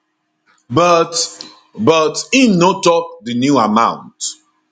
but but im no tok di new amount